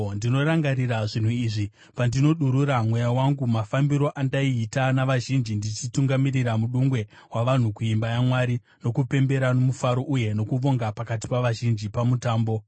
Ndinorangarira zvinhu izvi pandinodurura mweya wangu, mafambiro andaiita navazhinji ndichitungamirira mudungwe wavanhu kuimba yaMwari, nokupembera nomufaro uye nokuvonga pakati pavazhinji pamutambo.